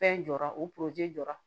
Fɛn jɔra u poroze